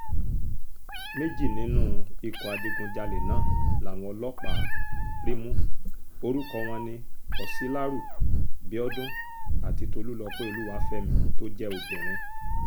méjì nínú ikọ̀ adigunjalè náà làwọn ọlọ́pàá rí mú orúkọ wọn ní ọsilaru biodun àti tolúlọpẹ́ olúwàfẹ́mi tó jẹ́ obìnrin